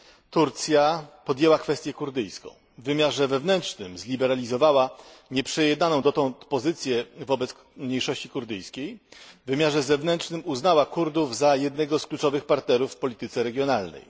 Turcja podjęła kwestię kurdyjską w wymiarze wewnętrznym zliberalizowała nieprzejednaną dotąd pozycję wobec mniejszości kurdyjskiej, w wymiarze zewnętrznym uznała Kurdów za jednego z kluczowych partnerów w polityce regionalnej.